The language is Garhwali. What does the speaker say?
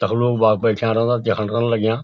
तख लोग वा बैठ्या रांदा जखण रैण लग्यां।